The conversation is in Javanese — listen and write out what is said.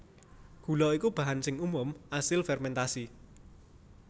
Gula iku bahan sing umum asil fermèntasi